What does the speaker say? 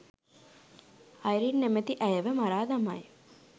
Irene නැමැති ඇයව මරා දමයි